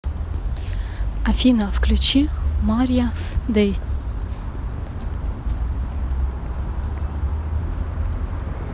афина включи марья с дэй